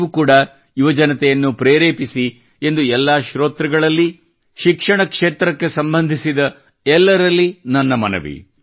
ನೀವು ಕೂಡಾ ಯುವಜನತೆಯನ್ನು ಪ್ರೇರೇಪಿಸಿ ಎಂದು ಎಲ್ಲಾ ಶ್ರೋತೃಗಳಲ್ಲಿ ಶಿಕ್ಷಣ ಕ್ಷೇತ್ರಕ್ಕೆ ಸಂಬಂಧಿಸಿದ ಎಲ್ಲರಲ್ಲಿ ನನ್ನ ಮನವಿ